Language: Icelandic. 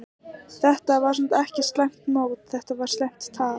Þetta var samt ekki slæmt mót, þetta var slæmt tap.